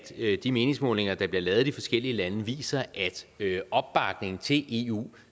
de meningsmålinger der bliver lavet i de forskellige lande viser at opbakningen til eu